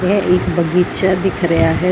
ਇਹ ਇੱਕ ਬਗੀਚਾ ਦਿਖ ਰਿਹਾ ਹੈ।